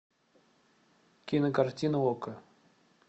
кинокартина окко